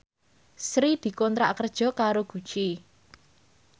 Sri dikontrak kerja karo Gucci